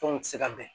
Tɔnw tɛ se ka bɛn